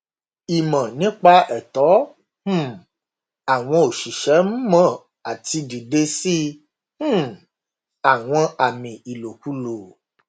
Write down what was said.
ìmọ nípa ẹtọ um àwọn òṣìṣẹ n mọ àti dìde sí um àwọn àmì ìlòkulò